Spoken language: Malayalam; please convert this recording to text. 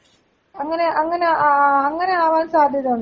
അങ്ങനെ അങ്ങനെ ആ അങ്ങനെ ആവാൻ സാധ്യത ഉണ്ടോ.